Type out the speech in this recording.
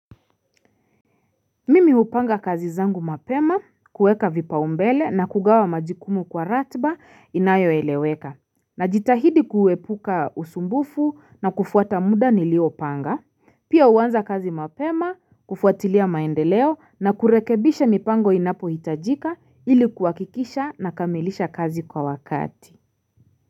Mimi upanga kazi zangu mapema kuweka vipaumbele na kugawa majukumu kwa ratba inayo eleweka Najitahidi kuwepuka usumbufu na kufuata muda niliopanga Pia uanza kazi mapema kufuatilia maendeleo na kurekebisha mipango inapo hitajika ilikuwakikisha na kamilisha kazi kwa wakati.